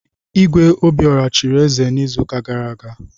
Igwe Obiora chiri eze n'izuụka gara aga.